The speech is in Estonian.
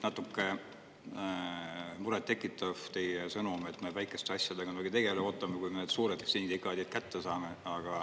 Natuke muret tekitab teie sõnum, et me väikeste asjadega nii väga ei tegele, ootame, kui need suured sündikaadid kätte saame.